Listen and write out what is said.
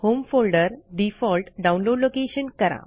home folder default download location करा